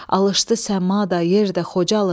Alışdı səma da, yer də, Xocalı.